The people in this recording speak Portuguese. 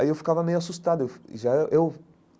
Aí eu ficava meio assustado eu já eu.